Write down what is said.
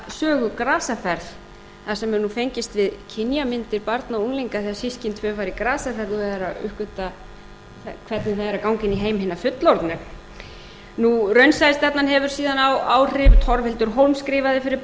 hina stórkostlegu unglingasögu grasaferð þar sem er nú fengist við kynjamyndir barna og unglinga þegar systkin tvö fara í grasaferð og eru að uppgötva hvernig það er að ganga inn í heim hinna fullorðnu raunsæja stefnan hefur síðan áhrif torfhildur hólm skrifaði fyrir börn